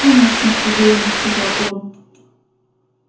конечно уверенно сказал он